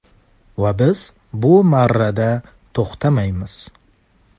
Va biz bu marrada to‘xtamaymiz.